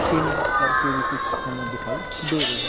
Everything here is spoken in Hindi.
किन करके भी कुछ हमें दिखाई दे --